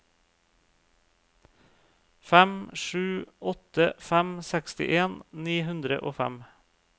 fem sju åtte fem sekstien ni hundre og fem